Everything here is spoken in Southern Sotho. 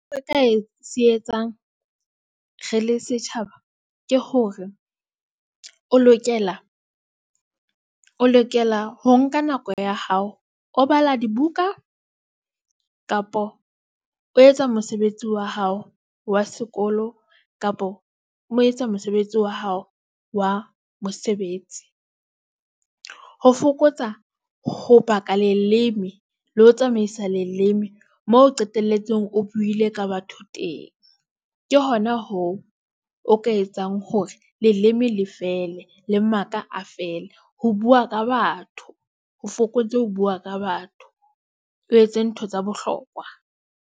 Se re ka se etsang, re le setjhaba ke hore o lokela. O lokela ho nka nako ya hao, o bala dibuka kapo o etsa mosebetsi wa hao wa sekolo kapo o etsa mosebetsi wa hao wa mosebetsi. Ho fokotsa ho baka leleme le ho tsamaisa leleme moo o qetelletseng o buile ka batho teng, ke hona hoo o ka etsang hore leleme le fele le maka a feele ho bua ka batho ho fokotse ho bua ka batho, o etse ntho tsa bohlokwa.